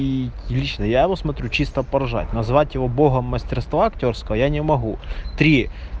и лично я посмотрю чисто поржать назвать его богом мастерства актёрская я не могу три